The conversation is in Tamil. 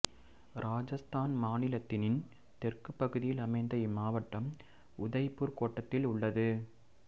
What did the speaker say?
இராஜஸ்தான் மாநிலத்தினின் தெற்குப் பகுதியில் அமைந்த இம்மாவட்டம் உதய்பூர் கோட்டத்தில் உள்ளது